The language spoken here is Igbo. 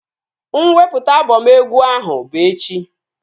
Mwepụta abọm egwu ahụ bụ echi